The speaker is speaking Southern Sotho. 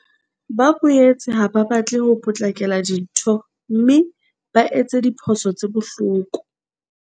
Ba boetse ha ba batle ho potlakela dintho mme ba etse diphoso tse bohloko.